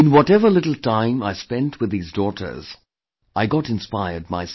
Whatever little time I spent with these daughters, I got inspired myself